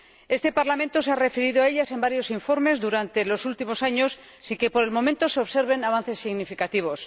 Este Parlamento se ha referido a ellas en varios informes durante los últimos años, sin que por el momento se observen avances significativos.